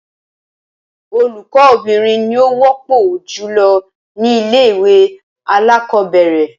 Olùkó obìnrin ni ó wópò jùlo ní ilé ìwé alákòóbèrè